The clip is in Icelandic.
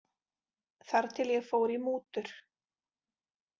Þar til ég fór í mútur.